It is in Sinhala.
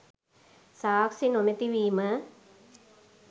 සාක්ෂි නොමැති වීම